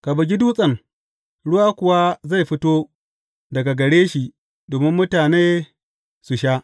Ka bugi dutsen, ruwa kuwa zai fito daga gare shi domin mutane su sha.